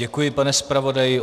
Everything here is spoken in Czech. Děkuji, pane zpravodaji.